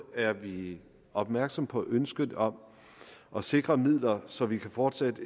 er vi opmærksomme på ønsket om at sikre midler så vi fortsat